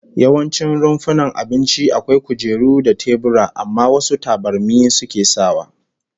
Yawancin rumfunan abinci akwai kujeru da tebura, amma wasu tabarmi suke sawa